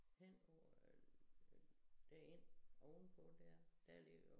Henover øh der én oven på dér der ligger